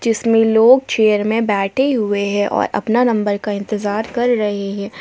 इसमें लोग चेयर में बैठे हुए है और अपना नंबर का इंतजार कर रहे है।